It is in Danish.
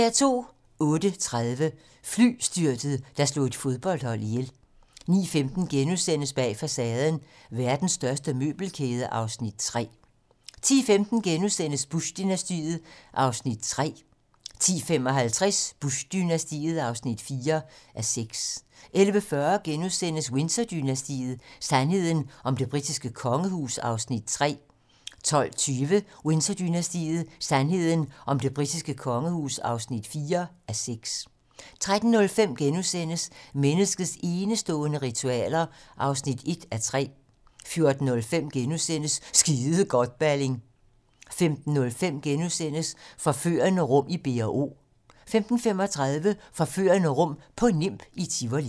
08:30: Flystyrtet, der slog et fodboldhold ihjel 09:15: Bag facaden: Verdens største møbelkæde (Afs. 3)* 10:15: Bush-dynastiet (3:6)* 10:55: Bush-dynastiet (4:6) 11:40: Windsor-dynastiet: Sandheden om det britiske kongehus (3:6)* 12:20: Windsor-dynastiet: Sandheden om det britiske kongehus (4:6) 13:05: Menneskets enestående ritualer (1:3)* 14:05: Skide godt, Balling! * 15:05: Forførende rum i B&O * 15:35: Forførende rum på Nimb i Tivoli